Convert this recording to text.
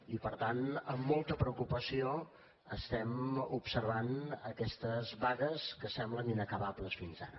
i per tant amb molta preocupació estem observant aquestes vagues que semblen inacabables fins ara